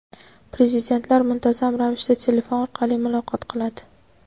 Prezidentlar muntazam ravishda telefon orqali muloqot qiladi.